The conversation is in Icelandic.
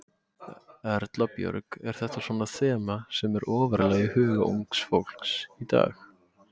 Erla Björg: Er þetta svona þema sem er ofarlega í huga unga fólksins í dag?